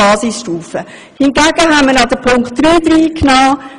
Hingegen haben wir noch Punkt 3 hinzugenommen.